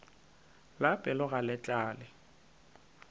la pelo ga le tlale